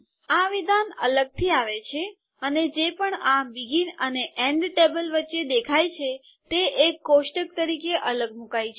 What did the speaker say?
આ વિધાન અલગથી આવે છે અને જે પણ આ બીગીન અને એન્ડ ટેબલ વચ્ચે દેખાય છે તે એક કોષ્ટક તરીકે અલગ મૂકાય છે